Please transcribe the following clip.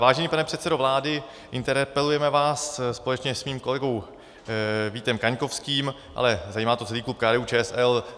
Vážený pane předsedo vlády, interpelujeme vás společně s mým kolegou Vítem Kaňkovským, ale zajímá to celý klub KDU-ČSL.